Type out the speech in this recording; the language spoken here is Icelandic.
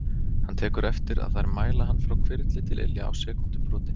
Hann tekur eftir að þær mæla hann frá hvirfli til ilja á sekúndubroti.